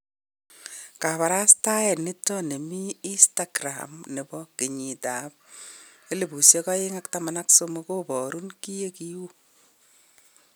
Kabarastaet niton nemii instagram nebo genyit ab 2013 koborun kinengiu.